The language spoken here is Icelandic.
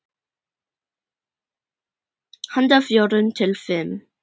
Handa fjórum til fimm